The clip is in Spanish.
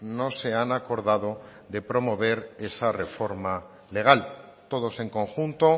no se han acordado de promover esa reforma legal todos en conjunto